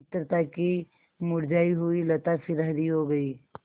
मित्रता की मुरझायी हुई लता फिर हरी हो गयी